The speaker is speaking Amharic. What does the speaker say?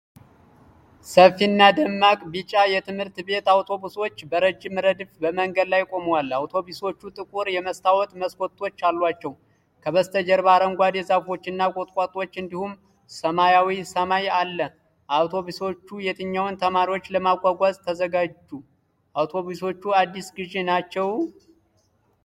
ሰፊና ደማቅ ቢጫ ትምህርት ቤት አውቶቡሶች በረጅም ረድፍ በመንገድ ዳር ቆመዋል። አውቶቡሶቹ ጥቁር የመስታወት መስኮቶች አሏቸው። ከበስተጀርባ አረንጓዴ ዛፎች እና ቁጥቋጦዎች እንዲሁም ሰማያዊ ሰማይ አለ። አውቶቡሶቹ የትኞቹን ተማሪዎች ለማጓጓዝ ተዘጋጁ? አውቶቡሶቹ አዲስ ግዢ ናቸው?